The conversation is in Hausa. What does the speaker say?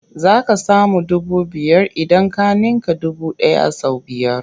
Za ka samu dubu biyar idan ka ninka dubu ɗaya sau biyar.